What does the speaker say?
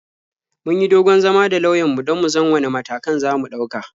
Mun yi dogon zama da lauyanmu don mu san wane matakan za mu ɗauka.